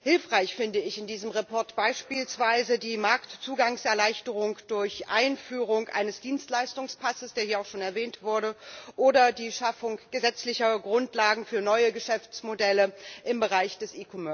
Hilfreich finde ich in diesem Bericht beispielsweise die Marktzugangserleichterung durch Einführung eines Dienstleistungspasses, der hier auch schon erwähnt wurde, oder die Schaffung gesetzlicher Grundlagen für neue Geschäftsmodelle im Bereich des